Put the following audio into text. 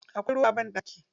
Akwai ruwa a banɗaki.